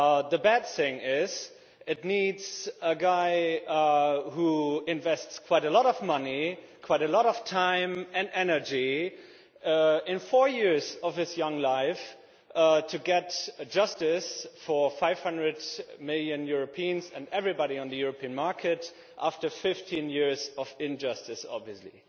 The bad thing is that it needs a guy who invests quite a lot of money, quite a lot of time and energy for four years of his young life, to get justice for 500 million Europeans and everybody on the European market after 15 years of injustice, obviously.